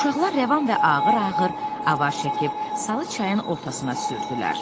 Uşaqlar rəvan və ağır-ağır avar çəkib, salı çayın ortasına sürdülər.